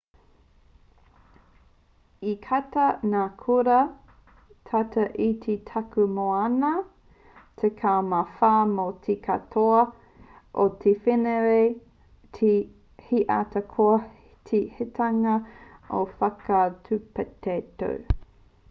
i katia ngā kura tata ki te takutai moana tekau mā whā mō te katoa o te wenerei he aha koa te hikitanga o ngā whakatūpato